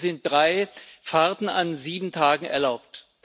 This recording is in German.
Hier sind drei Fahrten an sieben Tagen erlaubt.